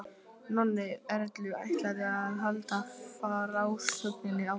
Nonni Erlu ætlaði að halda frásögninni áfram.